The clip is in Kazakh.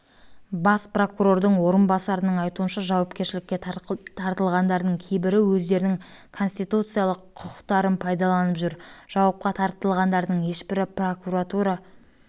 бас прокурордың орынбасарының айтуынша жауапкершілікке тартылғандардың кейбірі өздерінің конституциялық құқықтарын пайдаланып жүр жауапқа тартылғандардың ешбірі прокуратура